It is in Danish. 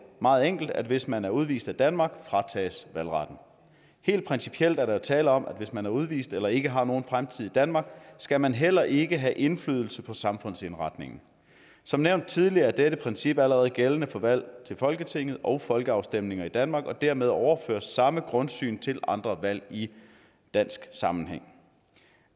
meget enkelt at hvis man er udvist af danmark fratages valgretten helt principielt er der jo tale om at hvis man er udvist eller ikke har nogen fremtid i danmark skal man heller ikke have indflydelse på samfundsindretningen som nævnt tidligere er dette princip allerede gældende for valg til folketinget og folkeafstemninger i danmark og dermed overføres samme grundsyn til andre valg i dansk sammenhæng